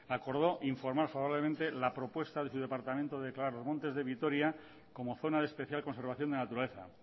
acordó informar favorablemente la propuesta de su departamento de declarar los montes de vitoria como zona de especial conservación de la naturaleza